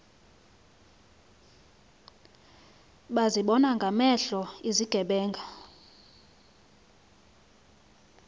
bazibona ngamehlo izigebenga